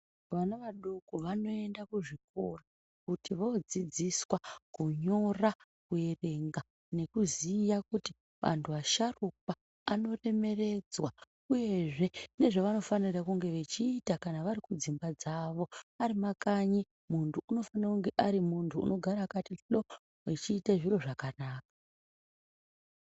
Vana vadoko vanoenda kuzvikoro kuti vodzidziswa kunyora, kuerenga nekuziya kuti antu asharukwa anoremeredzwa, uyezve nezvevanofanira kunge vachiita kana vari kudzimba dzavo. Ari makanyi muntu unofana kunge ari muntu unogaraakati hloo achiite zviro zvakanaka.